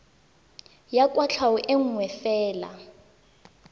ya kwatlhao e nngwe fela